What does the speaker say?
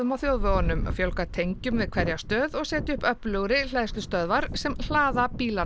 á þjóðvegunum fjölga tengjum við hverja stöð og setja upp öflugri hleðslustöðvar sem hlaða bílana